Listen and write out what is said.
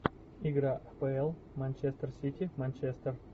игра апл манчестер сити манчестер